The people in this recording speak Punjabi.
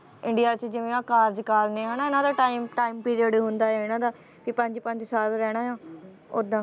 ਇੰਡੀਆ 'ਚ ਜਿਵੇਂ ਆਹ ਕਾਰਜਕਾਲ ਨੇ ਹਨਾ ਇਹਨਾਂ ਦਾ time time period ਹੁੰਦਾ ਹੈ ਇਹਨਾਂ ਦਾ ਕਿ ਪੰਜ ਪੰਜ ਸਾਲ ਰਹਿਣਾ ਆਂ ਓਦਾਂ